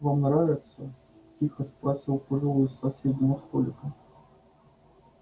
вам нравится тихо спросил пожилой с соседнего столика